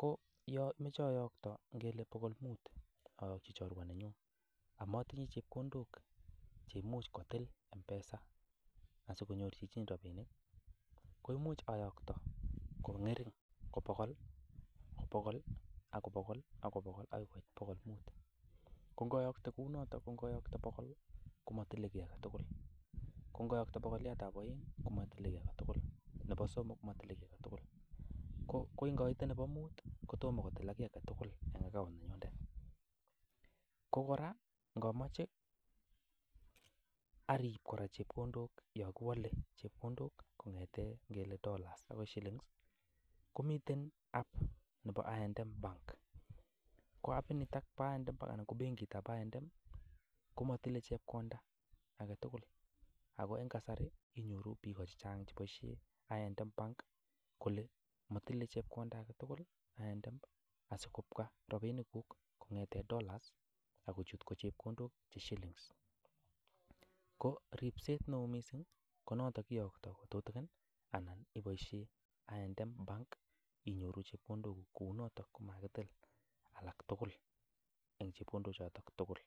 Ko yon amache ayoktoi ngele bogol muut amache ayoki chorwa amatinye chepkondok che imuch kotil M-Pesaa asikonyor chichin rabinik, koimuch ayaktoi ko ng'erin, ko bogol-bogol agoi koit bogol muut. Ko ngoyokte kou noto ngoyokte ko bogol-bogol komatile kiy age tugul. Ko kora ngomoche arib kora chepkondok yon kiwole, ngele arib yon kiwole kong'ete ngele dollars agoi shilllings. Komiten app nebo I&M Bank. Ko app inito bo I&M anan ko bengitab I&M komotile chepkonda age tugul ago en kasari inyoru biik chechang cheboisie en I&M kole motile chepkonda age tugul I&M asikobwa rabinikuk kong'ete dollars ak kochut ko chepkondok che shillings ko ripset neo mising ko noto kiyokto ko tutigin anan iboisien I&M bank inyoru chepkondokuk kou noto komakitil age tugul en chepkondok choto tugul.